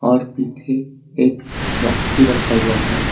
और पीछे एक बॉक्स भी रखा हुआ है।